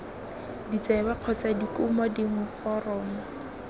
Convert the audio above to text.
ditsebe kgotsa dikumo dingwe foromo